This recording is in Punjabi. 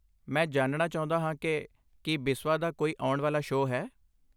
ਮੈਂ ਜਾਣਣਾ ਚਾਹੁੰਦਾ ਹਾਂ ਕਿ ਕੀ ਬਿਸਵਾ ਦਾ ਕੋਈ ਆਉਣ ਵਾਲਾ ਸ਼ੋਅ ਹੈ।